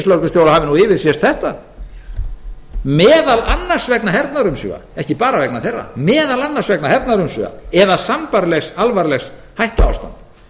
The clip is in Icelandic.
að ríkislögreglustjóra hafi yfirsést þetta og áfram segir með leyfi forseta meðal annars vegna hernaðarumsvifa eða sambærilegs alvarlegs hættuástands